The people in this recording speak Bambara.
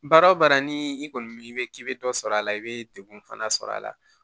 Baara o baara ni i kɔni i bɛ k'i bɛ dɔ sɔrɔ a la i bɛ degun fana sɔrɔ a la